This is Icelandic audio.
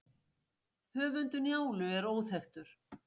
höfundur njálu er óþekktur